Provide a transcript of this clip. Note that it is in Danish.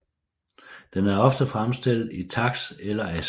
Den er ofte fremstillet i taks eller ask